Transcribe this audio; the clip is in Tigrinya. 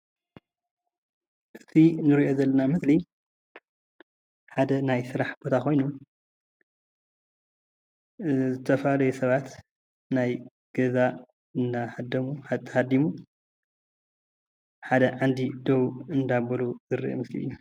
እዙዬ እንሪኦ ዘለና ምስሊ ሓደ ናይ ስራሕ ቦታ ኾዮኑ አአ ዝተፈላለዩ ሰባት ናይ ገዛ እንዳሃደሙ ተሃዲሙ ሓደ ዓንዲ ዶው እንዳበሉ ዘርኢ ምስሊ እዩ።።